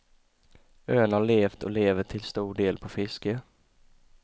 Ön har levt och lever till stor del på fiske.